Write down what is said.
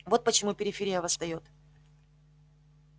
вот почему периферия восстаёт